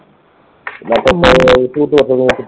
விட்டுவிட்டு வருது